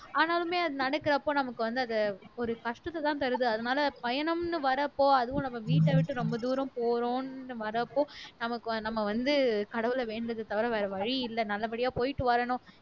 ஆனாலுமே அது நடக்குறப்ப நமக்கு வந்து அது ஒரு கஷ்டத்தைதான் தருது அதனால பயணம்ன்னு வர்றப்போ அதுவும் நம்ம வீட்டை விட்டு ரொம்ப தூரம் போறோம்ன்னு வர்றப்போ நமக்கு வ நம்ம வந்து கடவுளை வேண்டுறதை தவிர வேற வழி இல்ல நல்லபடியா போயிட்டு வரணும்